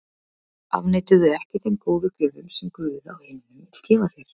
Afneitaðu ekki þeim góðu gjöfum sem Guð á himnum vill gefa þér.